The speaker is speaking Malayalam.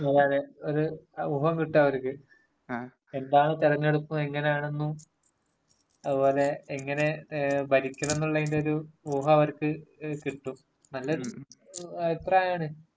അതേയതെ, ഒരു ഊഹം കിട്ടുമവര്ക്ക്.എന്താണ് തെരെഞ്ഞെടുപ്പ്, എങ്ങനാണെന്നും അതുപോലെ എങ്ങനെ ഭരിക്കണംന്നുള്ളതിന്‍റെ ഒരു ഊഹം അവർക്ക് കിട്ടും. നല്ലൊരു അഭിപ്രായമാണ്..